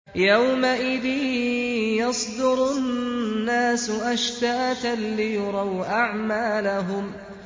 يَوْمَئِذٍ يَصْدُرُ النَّاسُ أَشْتَاتًا لِّيُرَوْا أَعْمَالَهُمْ